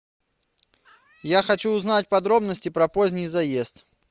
я хочу узнать подробности про поздний заезд